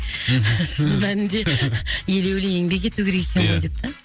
шын мәнінде елеулі еңбек ету керек екен ғой деп та